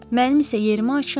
Mənim isə yerimə açın.